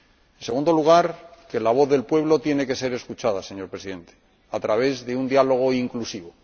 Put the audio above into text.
En segundo lugar, que la voz del pueblo tiene que ser escuchada, señor Presidente, a través de un diálogo inclusivo.